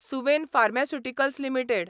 Suven pharmaceuticals limited